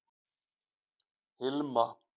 Hilma